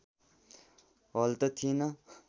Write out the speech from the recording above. हल त थिएन